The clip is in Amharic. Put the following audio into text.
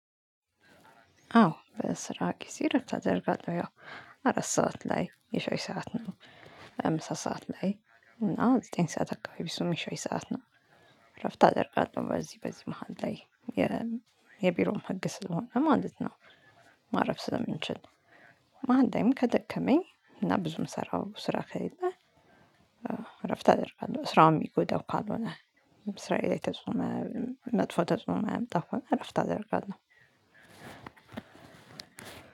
አዎ በስራ ጊዜ ረፍት አደርጋለህ ያው አራት ሰዓት ላይ የሸይ ሰዓት ነው። ምሳ ሰዓት ላይ እና ዘጠኝ ሰዓት አካባቢ አሱም የሻይ ሰዓት ነው። እረፍት አደርጋለሁ በዚህ በዚህ መሃል ላይ የቢሮም ህግ ስለሆነ ማለት ነው። ማረፍ ስለምንችል መሃል ከደከመኝ እና ብዙ የምሰራው ስራ ከሌለ። እረፍት አደርጋለሁ ስራውም እሚዳው ካልሆነ። ስራዬ ላይ ተጽኖ መጥፎ ተጽኖ እማያመጣ ከሆነ እረፍት አደርጋለሁ።